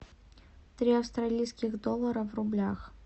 три австралийских доллара в рублях